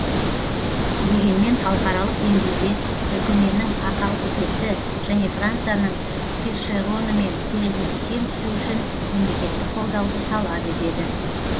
дегенмен халықаралық деңгейде түркіменнің ақалтекесі және францияның першеронымен терезесі тең түсуі үшін мемлекеттік қолдауды талап етеді